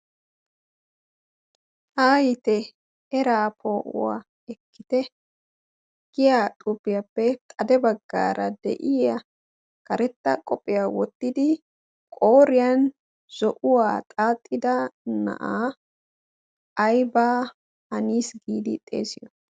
ha yite eraa poo'uwaa ekkite giya xuupiyaappe xade baggaara de'iya karetta qophiyaa wottidi qoriyan zo'uwaa xaaxxida na'aa ayba hanis giidi xeesiyo